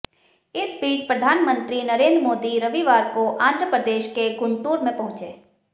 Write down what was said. इस बीच प्रधानमंत्री नरेंद्र मोदी रविवार को आंध्रप्रदेश के गुंटूर में पहुंचे